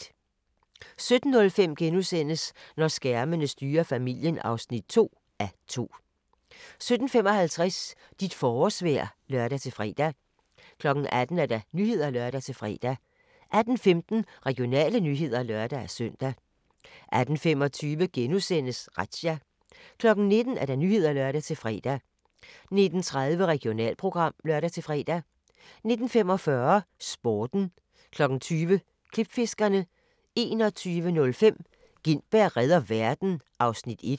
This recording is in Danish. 17:05: Når skærmene styrer familien (2:2)* 17:55: Dit forårsvejr (lør-fre) 18:00: Nyhederne (lør-fre) 18:15: Regionale nyheder (lør-søn) 18:25: Razzia * 19:00: Nyhederne (lør-fre) 19:30: Regionalprogram (lør-fre) 19:45: Sporten 20:00: Klipfiskerne 21:05: Gintberg reder verden (1:2)